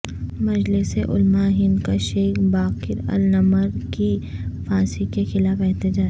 مجلس علما ئے ہند کا Sheikh Baqir al Nimr کی پھانسی کےخلاف احتجاج